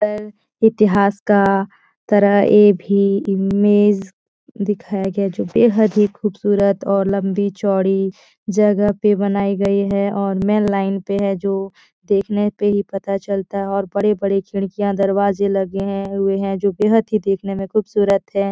इतिहास का तरह ऐ भी इमेज दिखाया गया है जो बेहद ही ख़ूबसूरत और लम्बी चौड़ी जगह पे बनाई गई है और मेन लाइन पे है जो देखने पे ही पता चलता है और बड़े-बड़े खिड़कियाँ दरवाजे लगे हैं हुए हैं जो बेहद ही देखने में ख़ूबसूरत है।